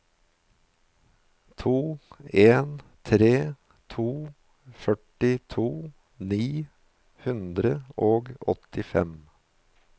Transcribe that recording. to en tre to førtito ni hundre og åttifem